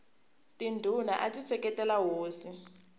tindhuna ati seketela hosi